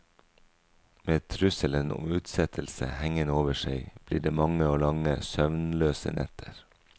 Med trusselen om utsettelse hengende over seg blir det mange og lange søvnløse netter.